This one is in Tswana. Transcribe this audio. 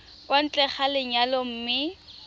kwa ntle ga lenyalo mme